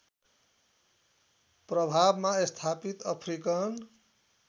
प्रभावमा स्थापित अफ्रिकन